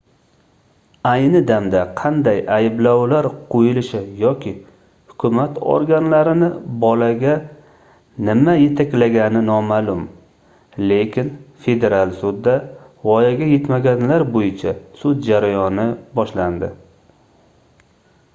ayni damda qanday ayblovlar qoʻyilishi yoki hukumat organlarini bolaga nima yetaklagani nomaʼlum lekin federal sudda voyaga yetmaganlar boʻyicha sud jarayoni boshlandi